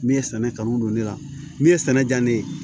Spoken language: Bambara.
Min ye sɛnɛ kanu don ne la min ye sɛnɛ diya ne ye